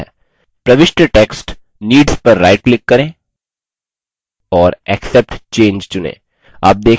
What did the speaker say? प्रविष्ट text needs पर right click करें और accept change चुनें